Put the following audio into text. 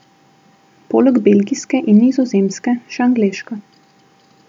Poleg belgijske in nizozemske še angleška.